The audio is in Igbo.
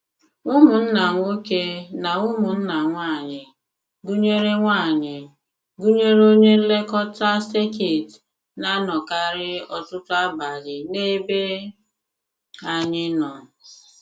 Ụmụnna nwoke na ụmụnna nwaanyị, gụnyere nwaanyị, gụnyere onye nlekọta sekit na-anọkarị ọtụtụ abalị n’ebe anyị nọ.